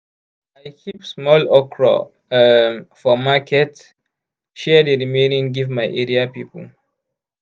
i keep small okra um for market share di remaining give my area people.